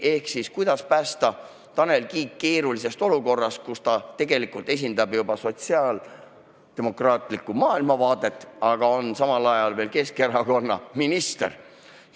Ehk siis: kuidas päästa Tanel Kiik keerulisest olukorrast, kus ta tegelikult esindab juba sotsiaaldemokraatlikku maailmavaadet, aga on samal ajal Keskerakonna minister?